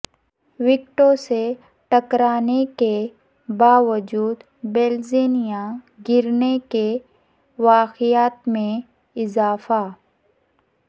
وکٹوں سے ٹکرانے کے باوجود بیلز نہ گرنے کے واقعات میں اضافہ